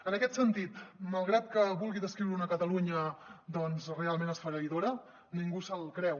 en aquest sentit malgrat que vulgui descriure una catalunya doncs realment esfereïdora ningú se’l creu